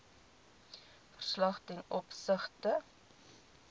verslag ten opsigte